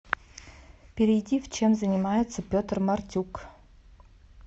перейди в чем занимается петр мартюк